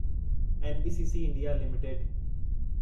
NBCC India limited